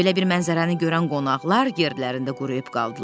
Belə bir mənzərəni görən qonaqlar yerlərində quruyub qaldılar.